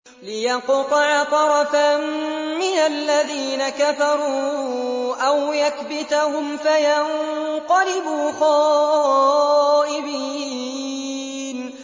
لِيَقْطَعَ طَرَفًا مِّنَ الَّذِينَ كَفَرُوا أَوْ يَكْبِتَهُمْ فَيَنقَلِبُوا خَائِبِينَ